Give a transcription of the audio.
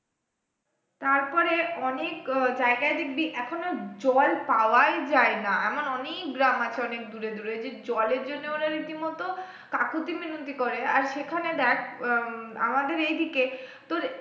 তারপরে অনেক আহ জায়গায় দেখবি এখন আর জল পাওয়াই যাই না এমন অনেক গ্রাম আছে অনেক দূরে দূরে যে জলের জন্য ওরা রীতিমত কাকতি মিনতি করে আর সেখানে দেখ আহ উম আমাদের এইদিকে তোর